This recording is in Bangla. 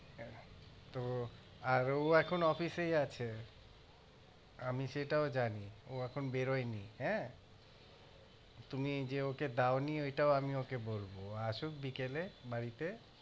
হ্যাঁ তো আর ও এখন office এই আছে আমি সেটাও জানি ও এখনও বেরোয়নি হ্যাঁ তুমি যে ওকে দাওনি সেটাও আমি ওকে বলবো আসুক বিকেলে বাড়িতে